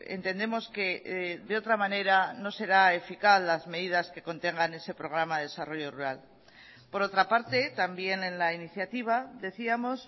entendemos que de otra manera no será eficaz las medidas que contengan ese programa de desarrollo rural por otra parte también en la iniciativa decíamos